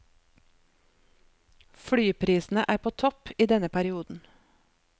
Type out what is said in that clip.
Flyprisene er på topp i denne perioden.